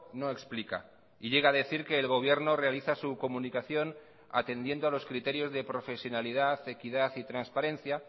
no explica y llega a decir que el gobierno realiza su comunicación atendiendo a los criterios de profesionalidad equidad y transparencia